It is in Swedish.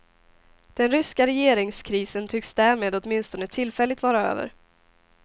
Den ryska regeringskrisen tycks därmed åtminstone tillfälligt vara över.